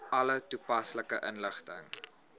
alle toepaslike inligting